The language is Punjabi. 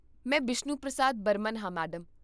ਮੈਂ ਬਿਸ਼ਨੂ ਪ੍ਰਸਾਦ ਬਰਮਨ ਹਾਂ, ਮੈਡਮ